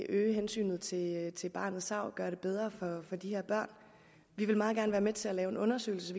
øge hensynet til til barnets tarv og gøre det bedre for de her børn vi vil meget gerne være med til at lave en undersøgelse